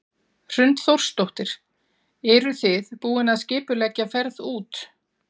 Hrund Þórsdóttir: Eruð þið búin að skipuleggja ferð út?